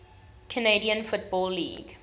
canadian football league